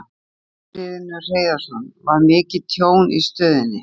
Magnús Hlynur Hreiðarsson: Var mikið tjón í stöðinni?